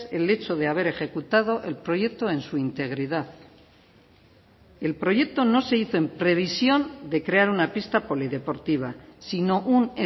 el hecho de haber ejecutado el proyecto en su integridad el proyecto no se hizo en previsión de crear una pista polideportiva sino un